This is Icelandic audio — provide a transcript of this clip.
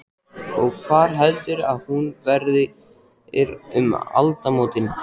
Og hvar heldurðu að þú verðir um aldamótin?